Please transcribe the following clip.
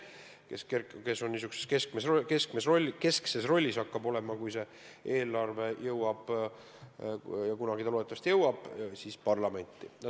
Kui see eelarve jõuab parlamenti – kunagi loodetavasti jõuab –, siis hakkab ta olema niisuguses keskses rollis.